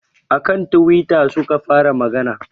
A kan twitter suka fara magana